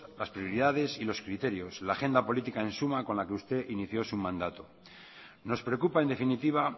las prioridades y los criterios la agenda política en suma con la que usted inició su mandato nos preocupa en definitiva